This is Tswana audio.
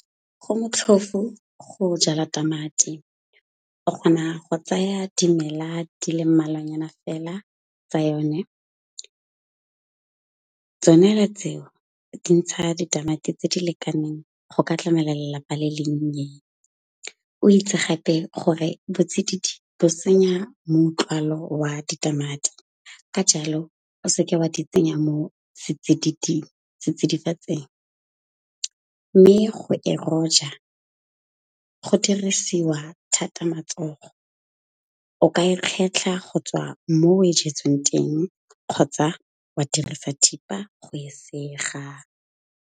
Go motlhofu go jala tamati. O kgona go tsaya dimela di le mmalwanyana fela tsa yone. Tsone tseo di ntsha ditamati tse di lekaneng go ka tlamela lelapa le le nnye. O itse gape gore botsididi bo senya moutlwaalo wa ditamati, ka jalo o seke wa di tsenya mo setsidifatsing. Mme go dirisiwa thata matsogo. O ka e kgetlha go tswa mo o e jetsweng teng kgotsa wa dirisa thipa go e sega.